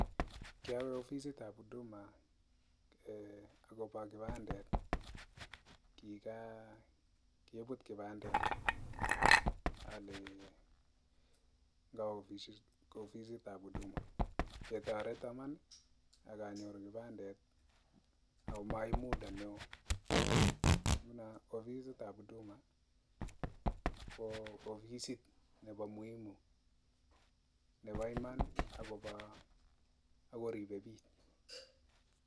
Kiawe ofisitab huduma akobo kipandet, kikan kobet kipandet ketoreton Iman ak anyoru kipandet ak maib muda neo, ofisitab huduma kotoreti bik iman ak koribe bik